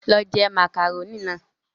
Lọ je màkàrónì náà!